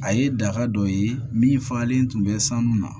A ye daga dɔ ye min fagalen tun bɛ sanu na